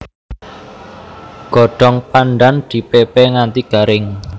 Godhong pandhan dipépé nganti garing